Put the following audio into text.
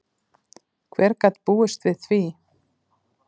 Hver gat búist við því?